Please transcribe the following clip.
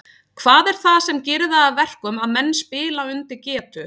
Hvað er það sem gerir það að verkum að menn spila undir getu?